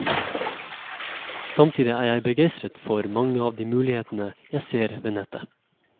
Samtidig er jeg begeistret for mange av de mulighetene jeg ser ved nettet.